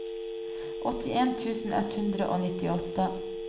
åttien tusen ett hundre og nittiåtte